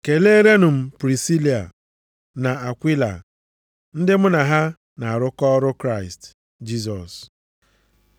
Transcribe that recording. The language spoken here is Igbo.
Keleerenụ m Prisila na Akwila ndị mụ na ha na-arụkọ ọrụ Kraịst Jisọs. + 16:3 \+xt Ọrụ 18:18\+xt* na \+xt 2Tm 4:19\+xt*